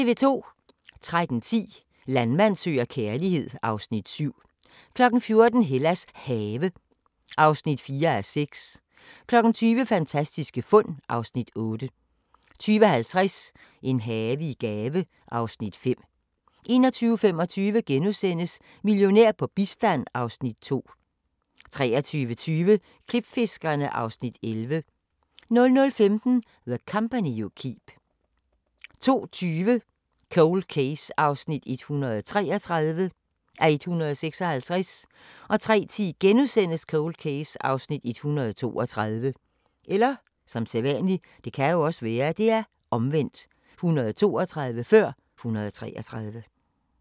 13:10: Landmand søger kærlighed (Afs. 7) 14:00: Hellas Have (4:6) 20:00: Fantastiske fund (Afs. 8) 20:50: En have i gave (Afs. 5) 21:25: Millionær på bistand (Afs. 2)* 23:20: Klipfiskerne (Afs. 11) 00:15: The Company You Keep 02:20: Cold Case (133:156) 03:10: Cold Case (132:156)*